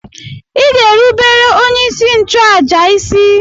Ị ga-erubere onyeisi nchụàjà isi!